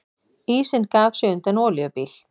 Ísinn gaf sig undan olíubíl